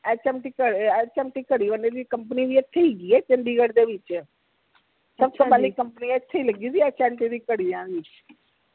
HMT ਘ ਅਹ HMT ਘੜੀ ਵਾਲੀ ਦੀ company ਵੀ ਇਥੇ ਹੇਗੀ ਏ ਚੰਡੀਗੜ੍ਹ ਦੇ ਵਿਚ ਸਬ ਤੋਂ ਪਹਿਲੀ company ਇਥੇ ਈ ਲਗੀ ਸੀ HMT ਘੜੀਆਂ ਦੀ